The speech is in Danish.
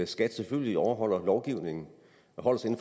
skat selvfølgelig overholder lovgivningen og